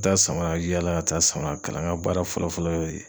Taa samara yaala ka taa samara kala ŋa baara fɔlɔ-fɔlɔ y'o ye.